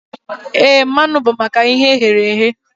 Éè, mmanụ bụ maka ihe e ghere eghe